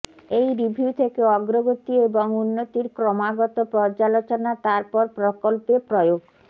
এই রিভিউ থেকে অগ্রগতি এবং উন্নতির ক্রমাগত পর্যালোচনা তারপর প্রকল্পে প্রয়োগ